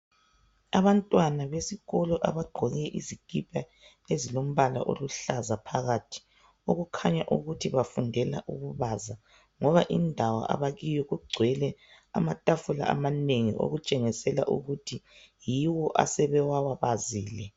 Abantwana besikolo abagqkoke izikipa ezilombala oluhlaza phakathi. Okukhanya ukuthi bafundela ukubaza ngoba indawo abakiyo kugcwele amatafula amanengi okutshengisela ukuthi yibo asebewabazile.